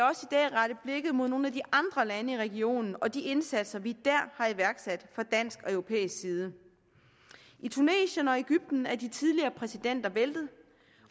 rette blikket mod nogle af de andre lande i regionen og de indsatser vi dér har iværksat fra dansk og europæisk side i tunesien og egypten er de tidligere præsidenter væltet